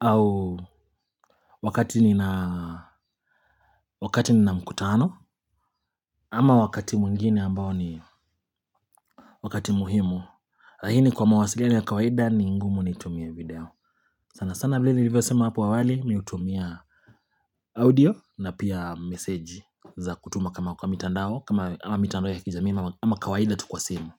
au wakati nina, wakati nina mkutano, ama wakati mwingine ambao ni wakati muhimu. Na hii ni kwa mawasiliano ya kawaida ni ngumu nitumie video sana sana vile nilivyo sema apo awali miutumia audio na pia message za kutuma kama kwa mitandao kama ama mitandao ya kijamii ama kawaida tu kwa simu.